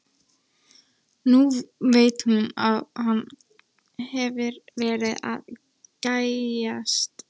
Nú veit hún að hann hefur verið að gægjast.